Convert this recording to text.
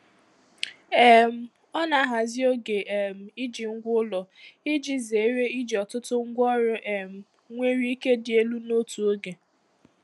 um Ọ na-ahazi oge um iji ngwa ụlọ iji zere iji ọtụtụ ngwaọrụ um nwere ike dị elu n'otu oge.